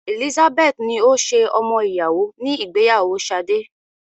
Elizabeth ni ó ṣe ọmọ ìyàwó ní ìgbéyàwó Sade.